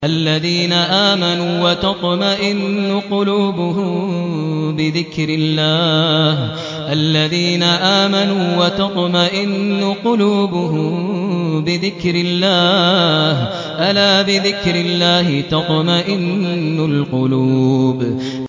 الَّذِينَ آمَنُوا وَتَطْمَئِنُّ قُلُوبُهُم بِذِكْرِ اللَّهِ ۗ أَلَا بِذِكْرِ اللَّهِ تَطْمَئِنُّ الْقُلُوبُ